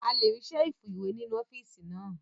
A lè rí Ṣẹ́ẹ̀fù ìwé nínú ọ́fíìsì náà